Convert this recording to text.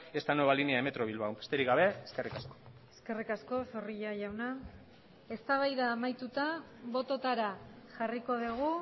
esta nueva línea de metro bilbao besterik gabe eskerrik asko eskerrik asko zorrilla jauna eztabaida amaituta bototara jarriko dugu